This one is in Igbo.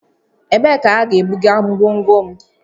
Ebee ka ha ga-ebuga ngwongwo m?